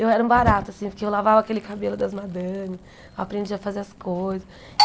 Eu era um barato, assim, porque eu lavava aquele cabelo das madames, aprendia a fazer as coisas.